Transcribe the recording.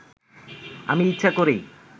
আমি ইচ্ছা করেই